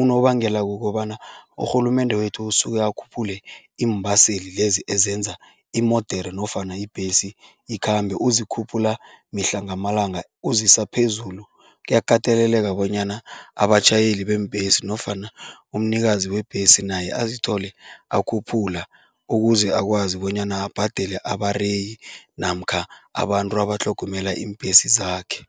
Unobangela kukobana urhulumende wethu usuke akhuphule iimbaseli lezi ezenza imodere nofana ibhesi ikhambe, uzikhuphula mihla ngamalanga uzisa phezulu. Kuyakateleleka bonyana abatjhayeli beembhesi nofana umnikazi webhesi naye azithole akhuphula ukuze akwazi bonyana abhadele abareyi namkha abantu abatlhogomela iimbhesi zakhe.